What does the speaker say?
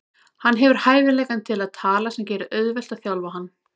Hann hefur hæfileikann til að tala sem gerir auðvelt að þjálfa hann.